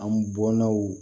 An bɔnnaw